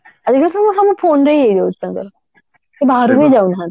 ଏବେ ସବୁ ସବୁ phone ରେ ହି ହେଇଯାଉଛି ତାଙ୍କର ତ ବାହାରକୁ ହି ଯାଉ ନାହାନ୍ତି